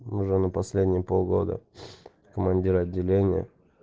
уже на последние полгода командир отделения